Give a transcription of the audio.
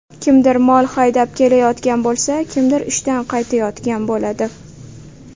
Kimdir mol haydab kelayotgan bo‘lsa, kimdir ishdan qaytayotgan bo‘ladi.